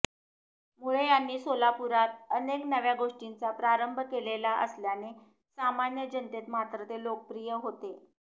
मुळे यांनी सोलापुरात अनेक नव्या गोष्टींचा प्रारंभ केलेला असल्याने सामान्य जनतेत मात्र ते लोकप्रिय होते